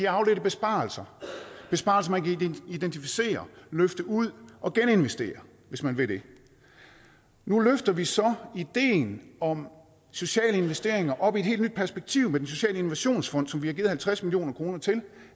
afledte besparelser besparelser man kan identificere løfte ud og geninvestere hvis man vil det nu løfter vi så ideen om sociale investeringer op i et helt nyt perspektiv med den sociale innovationsfond som vi har givet halvtreds million kroner til